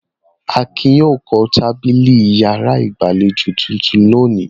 Akin yóò kan tábìlì ìyàrá ìgbàlejò tuntun lónìí.